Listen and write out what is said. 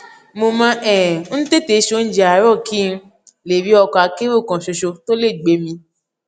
mo máa um ń tètè se oúnjẹ àárò kí n lè rí ọkọ akérò kan ṣoṣo tó lè gbé mi